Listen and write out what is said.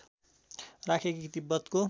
राखे कि तिब्बतको